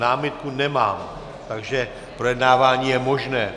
Námitku nemám, takže projednávání je možné.